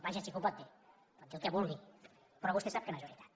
vaja sí que ho pot dir pot dir el que vulgui però vostè sap que no és veritat